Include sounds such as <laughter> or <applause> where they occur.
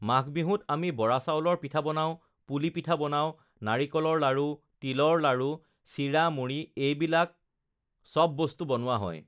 মাঘবিহুত আমি বৰাচাউলৰ পিঠা বনাওঁ, পুলি পিঠা বনাওঁ, নাৰিকলৰ লাৰু, তিলৰ লাৰু, চিৰা, মুড়ি এইবিলাক আমি এইবিলাক সব বস্তু বনোৱা হয় <noise>